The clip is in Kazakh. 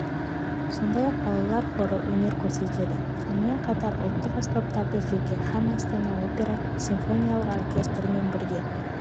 сондай-ақ балалар хоры өнер көрсетеді сонымен қатар ұлттық аспаптарды жеке һәм астана опера симфониялық оркестрімен бірге